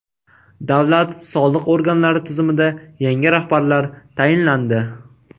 Davlat soliq organlari tizimida yangi rahbarlar tayinlandi.